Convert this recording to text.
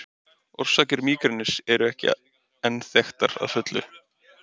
Orsakir mígrenis eru ekki enn þekktar að fullu.